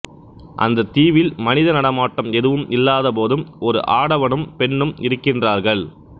அந்த தீவில் மனித நடமாட்டம் எதுவும் இல்லாத போதும் ஒரு ஆடவனும் பெண்ணும் இருக்கின்றார்கள்